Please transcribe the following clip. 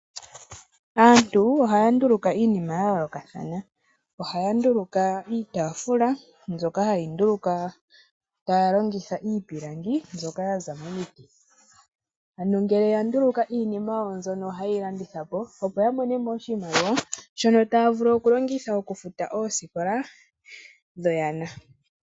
Aantu ohaya nduluka iinima yayoolokathana. Ohaya nduluka iitaafula mbyoka hayi ndulukwa taya longitha iipilangi mbyoka yaza momiti . Ano ngele yanduluka iinima yawo ohayeyi landithapo opo yamonemo oshimaliwa shono taya vulu okulongitha okufuta oosikola dhuunona wawo.